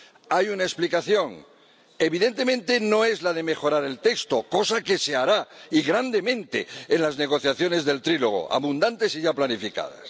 Hay una explicación evidentemente, no es la de mejorar el texto, cosa que se hará y en gran medida en las negociaciones tripartitas, abundantes y ya planificadas.